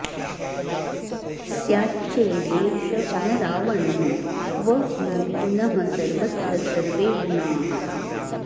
स्याच्चेदेष न रावणः क्व नु पुनः सर्वत्र सर्वे गुणाः